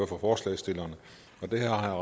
for forslagsstillerne har